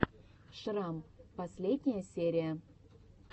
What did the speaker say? шрам последняя серия